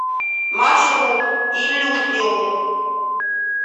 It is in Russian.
маршрут иллюзиум